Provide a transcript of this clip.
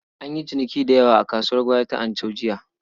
An yi ciniki da yawa a kasuwar gwari ta Anchau jiya.